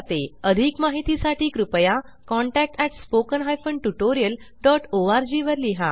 अधिक माहिती साठी कृपया contactspoken tutorialorg वर लिहा